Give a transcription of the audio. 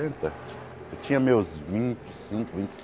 eu tinha meus vinte e cinco, vinte e